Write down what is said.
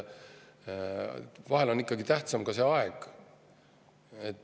Vahel on ikkagi tähtsam see aeg.